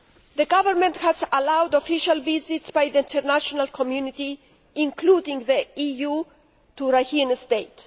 The Government has allowed official visits by the international community, including the EU, to Rakhine State.